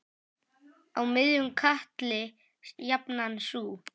Á miðjum katli jafnan sú.